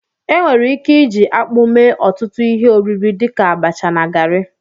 Enwere ike iji akpụ mee ọtụtụ ihe oriri dịka abacha na garị